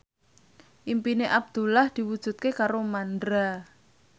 impine Abdullah diwujudke karo Mandra